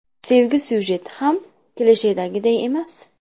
Sevgi syujeti ham klishedagiday emas.